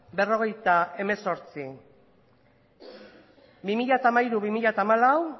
berrogeita hemezortzi bi mila hamairu bi mila hamalau